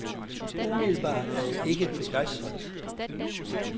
Umiddelbart er jeg ikke begejstret.